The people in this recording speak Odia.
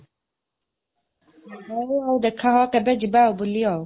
ହଉ, ଆଉ ଦେଖା ହଅ କେବେ ଆଉ ଯିବା ବୁଲିଆଉ